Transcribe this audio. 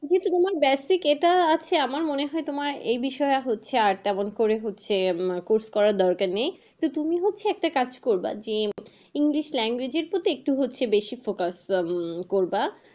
যেহেতু তোমার basic এটা আছে আমার মনে হয় এ বিষয়ে হচ্ছে আর ডবল করে হচ্ছে, course করার দরকার নেই। কিন্তু তুমি হচ্ছে একটা কাজ করবে যে english language এ একটু হচ্ছে বেশি focus করবা।